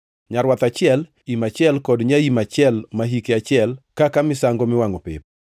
nyarwath achiel, im achiel kod nyaim achiel ma hike achiel, kaka misango miwangʼo pep;